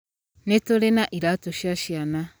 Nĩ tũrĩ na iraatũ cia ciana.